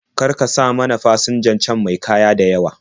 Kar ka sa mana fasinjan can me kaya da yawa.